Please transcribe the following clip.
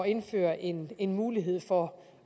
indføre en en mulighed for